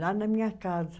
Lá na minha casa.